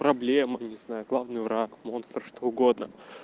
проблемы не знаю главный враг монстр что угодно